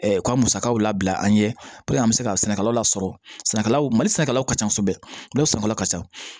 U ka musakaw labila an ɲɛ puruke an be se ka sɛnɛkɛlaw lasɔrɔ sɛnɛkɛlaw mali sɛnɛkɛlaw ka ca kosɛbɛ dɔw san fɔlɔ ka ca